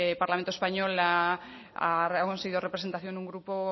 parlamento español la ha conseguido representación un grupo